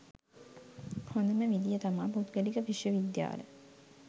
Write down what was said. හොදම විදිය තමා පුද්ගලික විශ්ව විද්‍යාල.